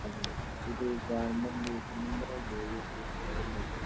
hello സ്കൂളിന്നു വിളിക്കാ